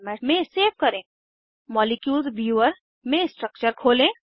molecules viewer molecules viewer में structure खोलें